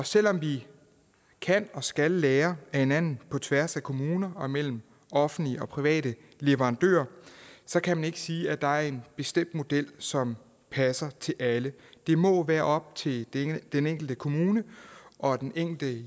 selv om vi kan og skal lære af hinanden på tværs af kommuner og mellem offentlige og private leverandører kan man ikke sige at der er en bestemt model som passer til alle det må være op til den enkelte kommune og den enkelte